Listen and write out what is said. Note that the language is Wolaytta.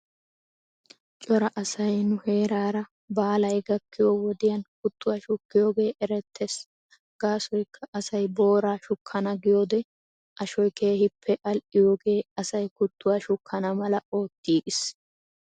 Cora asay nu heeraara baalay gakkiyoo wodiyan kuttuwaa shukkiyoogee erettes gaasiykka asay booraa shukkana giyoode ashoy keehippe al"iyooge asay kutwaa shukkana mala ootgis.